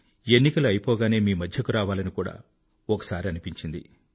ఎన్నికలు అయిపోగానే మీ మధ్యకు రావాలని కూడా ఒకసారి అనిపించింది